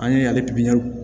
An ye ale pipiniyɛri